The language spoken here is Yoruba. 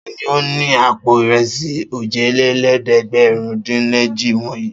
Ta ni ó ni àpò ìrẹsì òjìlélẹ́ẹ̀dẹ́gbẹ̀rúndínèje wọ̀nyí?